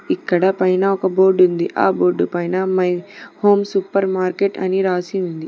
ఇక్కడ పైన ఒక బోర్డు ఉంది ఆ బోర్డు పైన మై హోమ్ సూపర్ మార్కెట్ అని రాసి ఉంది.